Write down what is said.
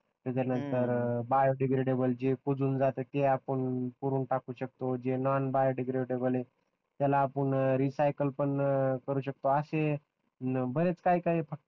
त्याचा नंतर biodegradable जे कुजून जातो ते आपण नोन बायो डिग्रेडेबल त्याला आपण रीसायकल पण करू शकतो असे बरेच काही काही